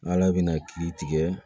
Ala bɛna kiiri tigɛ